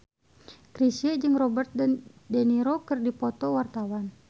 Chrisye jeung Robert de Niro keur dipoto ku wartawan